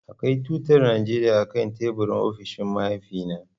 Akwai tutar Najeriya akan teburin ofishin mahaifina.